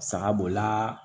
Saga b'o la